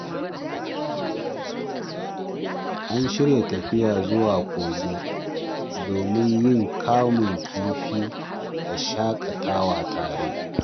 An shirya tafiya zuwa kogi domin yin kamun kifi da shakatawa tare.